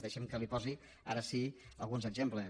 deixi’m que li posi ara sí alguns exemples